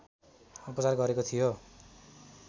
उपचार गरेको थियो